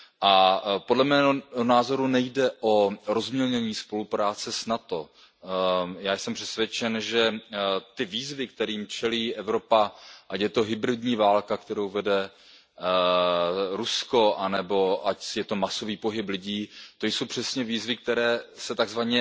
A podle mého názoru nejde o rozmělnění spolupráce s NATO. Já jsem přesvědčen, že ty výzvy, kterým čelí Evropa, ať je to hybridní válka, kterou vede Rusko, nebo ať je to masový pohyb lidí, to jsou přesně výzvy, které se tzv.